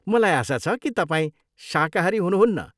मलाई आशा छ कि तपाईँ शाकाहारी हुनुहुन्न?